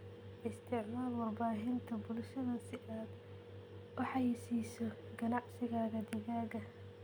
Isticmaal warbaahinta bulshada si aad u xayeysiiso ganacsigaaga digaaga.